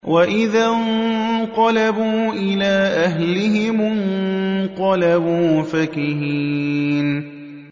وَإِذَا انقَلَبُوا إِلَىٰ أَهْلِهِمُ انقَلَبُوا فَكِهِينَ